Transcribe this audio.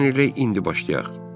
Gəlin elə indi başlayaq.